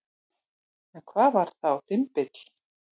En hvað var þá dymbill?